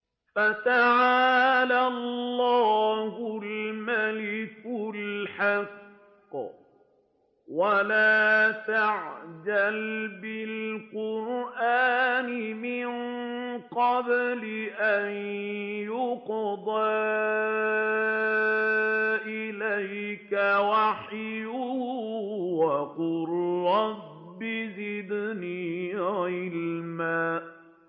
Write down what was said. فَتَعَالَى اللَّهُ الْمَلِكُ الْحَقُّ ۗ وَلَا تَعْجَلْ بِالْقُرْآنِ مِن قَبْلِ أَن يُقْضَىٰ إِلَيْكَ وَحْيُهُ ۖ وَقُل رَّبِّ زِدْنِي عِلْمًا